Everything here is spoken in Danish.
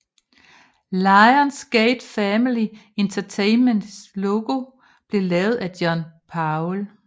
Lions Gate Family Entertainments logo blev lavet af John Powell